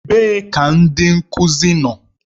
Ebee ka ndị nkuzi nọ?